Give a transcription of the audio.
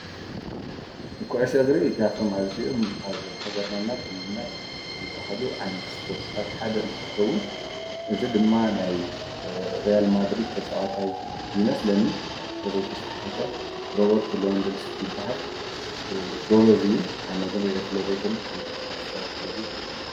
እቁዑሽ ግሪ ኣፍቶም ኣዚኦም ኣብ ሃገርናእና ኽልልና ተፈቱቱ ዝብሃሉ ዓይነት ስጶርትታትሓደ እንትትከውን እዝ ድማ ናይ ርያል ማድሪድ ተጸዋታይ ይመስለኒን እንተዘይተሳሒተ ሮበርት ሎንድልስኪ ባሃል ግበዝዩ ኣነግንሪ እዩ ስለ ዘይፈልጥ ዙሒ ኣስታይት ክበሉ ይክእል